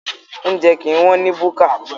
Oúnjẹ kìí wọ́n ní búkà.